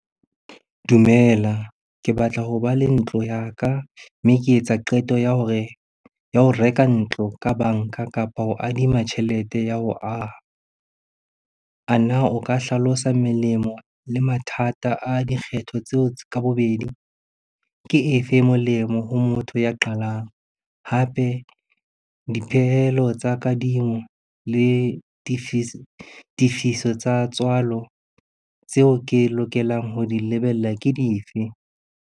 Dumela, ke batla ho ba le ntlo ya ka mme ke etsa qeto ya ho reka ntlo ka banka kapo ho adima tjhelete ya ho aha. A na o ka hlalosa melemo le mathata a dikgetho tseo ka bobedi, ke efe e molemo ho motho ya qalang? Hape dipehelo tsa kadimo le tifiso tsa tswalo tseo ke lokelang ho di lebella ke dife.